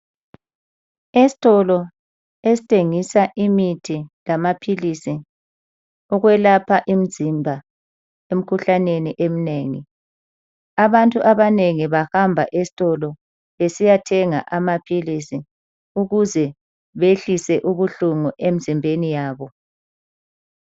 Esitolo esithengisa imithi lamaphilisi yokwelapha imizimba emikhuhlaneni eminengi. Abantu abanengi bahamba esitolo besiyathenga amaphilisi ukuze behlise ubuhlungu emzimbeni yabo.